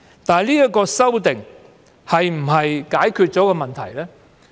不過，這次修訂能否解決問題呢？